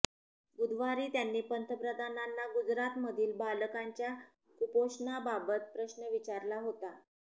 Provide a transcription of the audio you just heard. बुधवारी त्यांनी पंतप्रधानांना गुजरातमधील बालकांच्या कुपोषणाबाबत प्रश्न विचारला होता